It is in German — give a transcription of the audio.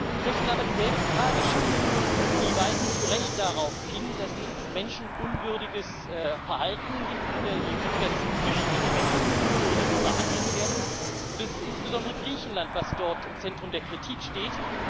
Ich möchte Ihnen aber dieselbe Frage stellen Sie weisen zu Recht darauf hin, dass es in der EU menschenunwürdiges Verhalten gibt, dass Flüchtlinge menschenunwürdig behandelt werden, und es ist insbesondere Griechenland, das dort im Zentrum der Kritik steht.